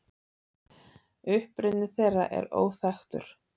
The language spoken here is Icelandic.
Uppruni þeirra er óþekktur.